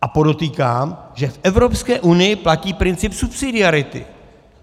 A podotýkám, že v Evropské unii platí princip subsidiarity.